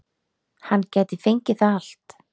Hann gæti fengið það allt